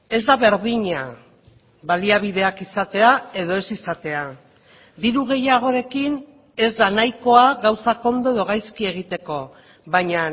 ez da berdina baliabideak izatea edo ez izatea diru gehiagorekin ez da nahikoa gauzak ondo edo gaizki egiteko baina